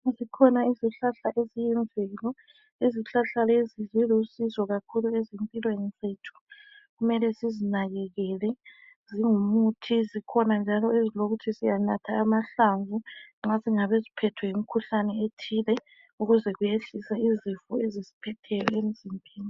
Zikhona izihlahla eziyimvelo. Izihlahla lezi zilusizo kakhulu ezimpilweni zethu. Kumele sizinakekele zingumuthi zikhona njalo ezilokuthi siyanatha amahlamvu nxa singabe siphethwe yimukhuhlane ethile ukuze kuyehlise izifo ezisiphetheyo emzimbeni.